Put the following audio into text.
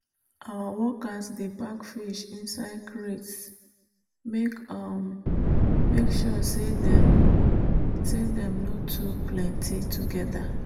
our workers dey pack fish inside crates make um sure say dem say dem no too plenty together.